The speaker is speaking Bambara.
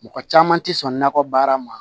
Mɔgɔ caman tɛ sɔn nakɔ baara ma